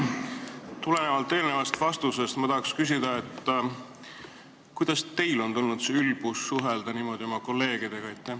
Tulenevalt eelnevast vastusest ma tahan küsida: kust teil on tulnud see ülbus suhelda niimoodi oma kolleegidega?